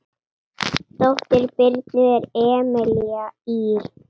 Dóttir Birnu er Emelía Ýr.